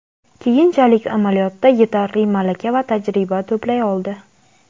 keyinchalik amaliyotda yetarli malaka va tajriba to‘play oldi.